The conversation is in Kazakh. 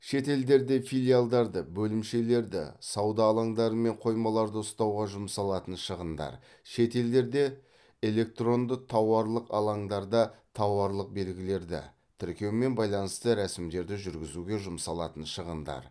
шетелдерде филиалдарды бөлімшелерді сауда алаңдары мен қоймаларды ұстауға жұмсалатын шығындар шетелдерде электронды тауарлық алаңдарда тауарлық белгілерді тіркеумен байланысты рәсімдерді жүргізуге жұмсалатын шығындар